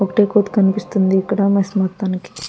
ఒకటే కోతి కనిపిస్తుంది ఇక్కడ మెస్ మొత్తానికి.